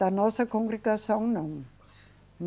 Da nossa congregação, não.